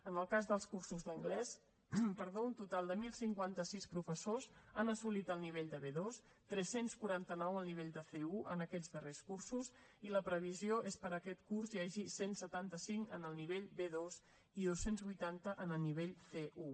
en el cas dels cursos d’anglès un total de deu cinquanta sis professors han assolit el nivell de b2 tres cents i quaranta nou el nivell de c1 en aquests darrers cursos i la previsió és que per a aquest curs n’hi hagi cent i setanta cinc en el nivell b2 i dos cents i vuitanta en el nivell c1